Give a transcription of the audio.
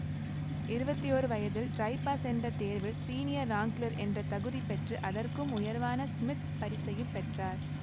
இருபத்தி ஓரு வயதில் ட்ரைபாஸ் என்ற தேர்வில் ஸீனியர் ராங்க்ளர் என்ற தகுதி பெற்று அதற்கும் உயர்வான ஸ்மித் பரிசையும் பெற்றார்